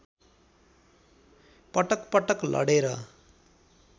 पटकपटक लडेर